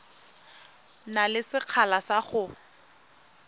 na le sekgala sa go